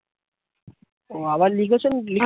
উহ আবার লিখেছেন কি